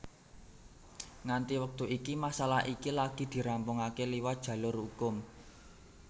Nganti wektu iki masalah iki lagi dirampungaké liwat jalur hukum